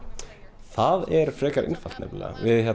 það er frekar einfalt nefnilega